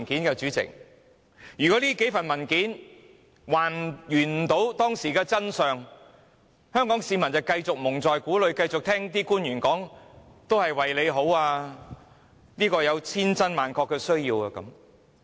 如果這些文件也無法還原當時的真相，香港市民將會繼續被蒙在鼓裏，只好繼續相信官員所說這是為大家好，而且有千真萬確的需要。